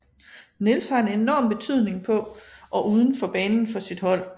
Niels har en enorm betydning på og uden for banen for sit hold